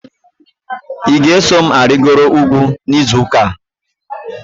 Ị ga-eso m arịgoro ugwu n'izu ụka a?